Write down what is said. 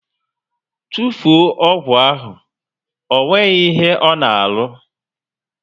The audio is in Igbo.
Tufuo ọgwụ ahụ! Ọ nweghị ihe ọ na arụ!